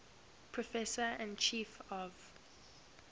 professor and chief of